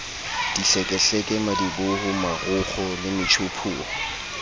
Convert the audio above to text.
dihlekehleke madiboho marokgo le metjhophoro